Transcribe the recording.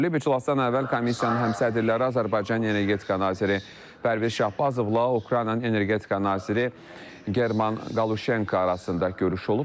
İclasdan əvvəl komissiyanın həmsədrləri Azərbaycanın energetika naziri Pərviz Şahbazovla Ukraynanın energetika naziri German Qaluşenko arasında görüş olub.